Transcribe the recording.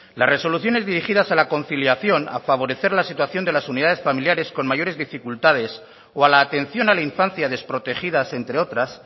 las resoluciones dirigidas a la conciliación a favorecer la situación de las unidades familiares con mayores dificultades o a la atención a la infancia desprotegidas entre otras